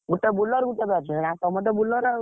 ଗୋଟେ bowler ଗୋଟେ batsman ଆଉ ତମେ ତ bowler ଆଉ।